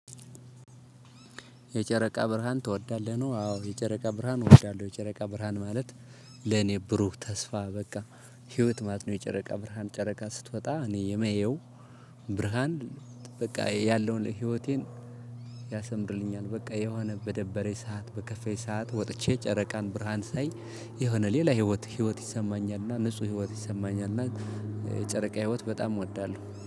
የጨረቃ ብርሃን ትወዳለህ ነው? አዎ የጨረቃ ብርሃን እወዳለው የጨረቃ ብርሃን ማለት ለኔ ብሩህ ተስፋ በቃ ህይወት ማለት ነው። የጨረቃ ብርሃን ጨረቃ ስትወጣ እኔ የማየው ብርሃን በቃ ያለውን ህይወቴን ያሰምርልኛል። በቃ የሆነ በደበርኝ ሰዓት በከፋን ሰዓት ወጥቼ ጨረቃን ብርሃን ሳይ የሆነ ሌላ ህይወት ህይወት ይሰማኛልና ንጹ ህይወት ይሰማኛልና። የጨረቃ ህይወት በጣም እወዳለው